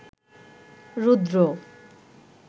রুদ্র